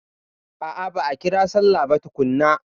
A'a ba'a ƙira sallah ba tukunna.